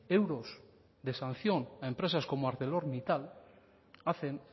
euros de sanción a empresas como arcelormittal hacen